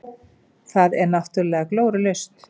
Þetta er náttúrulega glórulaust.